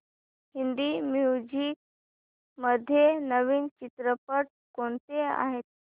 Hindi movies मध्ये नवीन चित्रपट कोणते आहेत